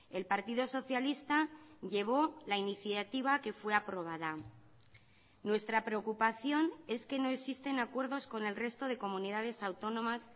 el partido socialista llevó la iniciativa que fue aprobada nuestra preocupación es que no existen acuerdos con el resto de comunidades autónomas